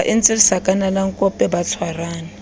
ba entse sakanalankope ba tshwarane